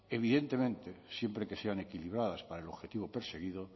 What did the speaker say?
evidentemente siempre que sean equilibradas para el objetivo perseguido